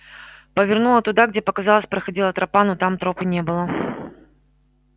повернула туда где показалось проходила тропа но там тропы не было